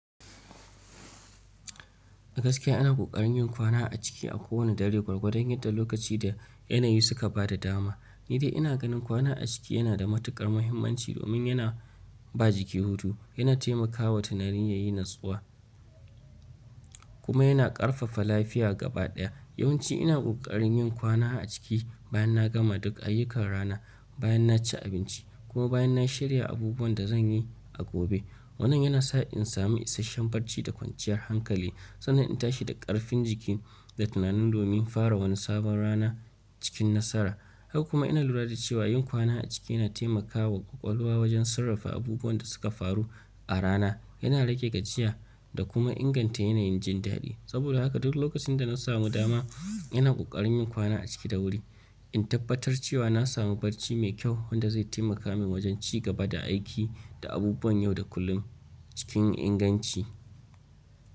A gaskiya ana ƙoƙarin yin kwana a ciki a kowane dare gwargwadani yadda lokaci da yanayi suka ba da dama. Ni dai ina ganin kwana a ciki yana da matukar muhimmanci domin yana ba jiki hutu, yana taimakawa tunani yayi natsuwa kuma yana ƙarfafa lafiya gabaɗaya. Yawnci ina ƙoƙarin yin kwana a ciki bayan na gama duk ayyukan rana, bayan na ci abinci kuma bayan na shirya abubuwan da zan yi a gobe. Wannan yana sa in sami isasshen barci da kwanciyar hankali sannan in tashi da ƙarfin jiki da tunani domin fara wani sabon rana cikin nasara. Haka kuma ina lura da cewa yin kwana a ciki yana taimakawa ƙwaƙwalwa wajen sarrafa abubuwan da suka faru a rana, yana rage gajiya da kuma inganta yanayin jin dadi. Saboda haka duk lokacin da na samu dama, ina ƙoƙarin yin kwana a ciki da wuri, in tabbatar cewa na samu barci mai kyau wanda zai taimaka min wajen ci gaba da aiki da abubuwan yau da kullum cikin inganci.